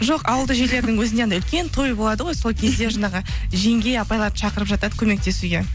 жоқ ауылды жерлердің өзінде анадай үлкен той болады ғой сол кезде жаңағы жеңге апайларды шақырып жатады көмектесуге